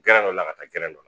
dɔ la ka taa dɔ la